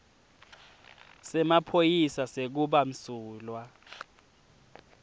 semaphoyisa sekuba msulwa